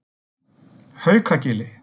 Haukagili